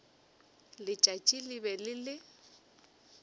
letšatši le be le le